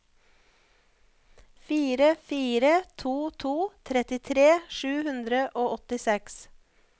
fire fire to to trettitre sju hundre og åttiseks